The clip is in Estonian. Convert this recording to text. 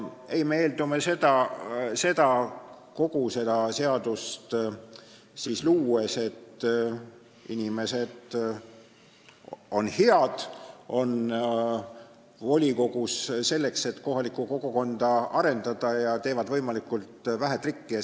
Ei, me eeldame kogu seda seadust luues, et inimesed on head, nad on volikogus selleks, et kohalikku kogukonda arendada, ja teevad võimalikult vähe trikke.